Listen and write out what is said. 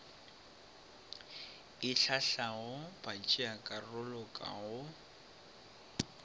e hlahlago batšeakarolo ka go